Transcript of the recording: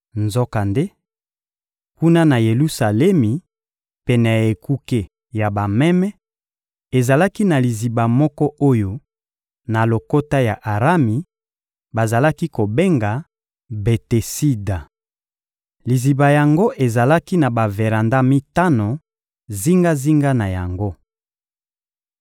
Nzokande, kuna na Yelusalemi, pene ya Ekuke ya Bameme, ezalaki na liziba moko oyo, na lokota ya Arami, bazalaki kobenga «Betesida.» Liziba yango ezalaki na baveranda mitano zingazinga na yango.